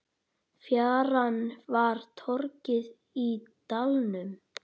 Fjaran var torgið í dalnum.